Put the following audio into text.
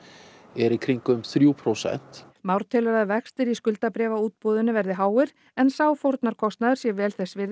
er í kringum þrjú prósent Már telur að vextir í skuldabréfaútboðinu verði háir en sá fórnarkostnaður sé vel þess virði